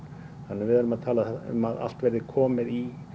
við erum að tala um að allt verði komið í